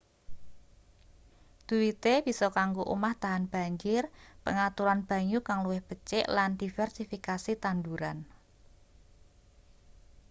dhuwite bisa kanggo omah tahan banjir pengaturan banyu kang luwih becik lan diversifikasi tanduran